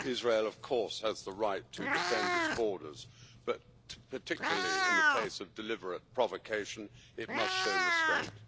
Israel, of course, has the right to defend its borders but, particularly in the face of deliberate provocation, it must show restraint.